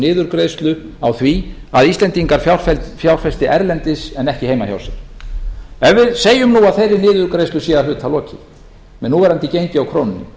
niðurgreiðslu á því að íslendingar fjárfesti erlendis en ekki heima hjá sér ef við segjum nú að þeirri niðurgreiðslu sé að hluta lokið með núverandi gengi á krónunni